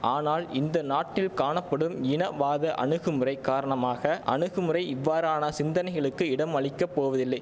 ஆனால் இந்த நாட்டில் காணப்படும் இனவாத அணுகுமுறை காரணமாக அணுகுமுறை இவ்வாறான சிந்தனைகளுக்கு இடமளிக்கப் போவதில்லை